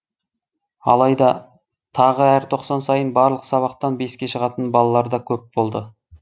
алайда тағы әр тоқсан сайын барлық сабақтан беске шығатын балалар да көп болды